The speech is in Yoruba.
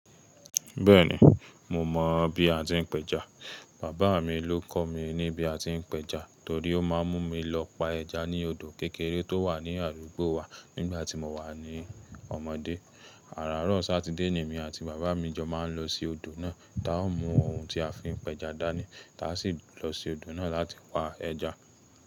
Bẹ́ẹ̀ni, mo mọ bí a tí n péja. Bàbá mi ló kọ̀ mí ní bí a tí n péja torí ó máa ń mú mi lọ pa ẹja ní odò kékeré tó wà ní àdúgbò wa nígbà tí mo wà ní ọmọdé. Àràrárọ̀ Sátidé, ni èmi àti bàbá mi jọ máa ń lọ sí odò náà, tá o mú ohun tí a fi n péja dání, táa sì lọ sí odò náà láti pa ẹja.